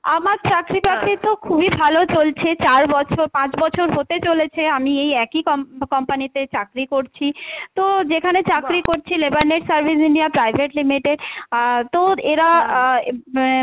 আমার চাকরিবাকরি তো খুবই ভালো চলছে, চার বছর, পাঁচ বছর হতে চলেছে আমি এই একই com~ company তে চাকরি করছি, তো যেখানে চাকরি করছি service India private limited আহ তো এরা আহ উম